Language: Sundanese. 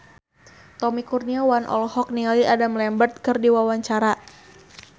Tommy Kurniawan olohok ningali Adam Lambert keur diwawancara